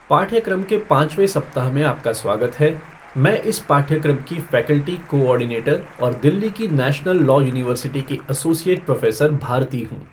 पाठ्यक्रम के पांचवें सप्ताह में आपका स्वागत है, मैं इस पाठ्यक्रम की फ़ैकल्टी कोऑर्डिनेटर और दिल्ली की नेशनल लॉ यूनिवर्सिटी की एसोसिएट प्रोफ़ेसर भारती हूँ।